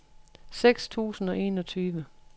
seks tusind og enogtyve